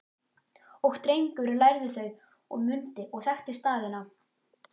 Og Drengur lærði þau og mundi og þekkti staðina